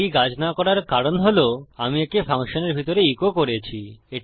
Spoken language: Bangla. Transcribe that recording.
এটি কাজ না করার কারণ হল আমি একে ফাংশনের ভিতরে ইকো করেছি